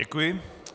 Děkuji.